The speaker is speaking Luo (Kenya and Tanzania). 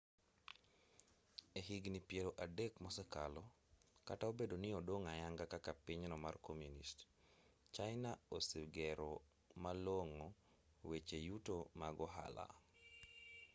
e higni piero adek mosekalo kata obedo ni odong' ayanga kaka pinyno mar komunist china osegero malong'o weche yuto mag ohala